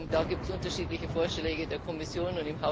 Da gibt es unterschiedliche Vorschläge der Kommission.